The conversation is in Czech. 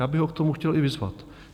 Já bych ho k tomu chtěl i vyzvat.